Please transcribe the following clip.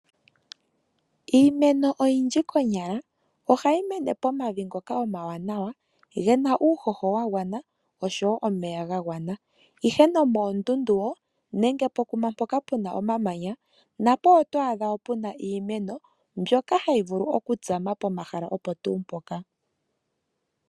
Iimeno yindji konyala ohayi mene pomavi ngoka omawanawa gena uuhoho wagwana oshowo omeya gagwana ihe nomondundu woo nenge mpo kuma mpoka puna omamanya napo otwaadha puna woo iimeno mbyoka hayi vulu okutsama po mahala opo tuu mpoka.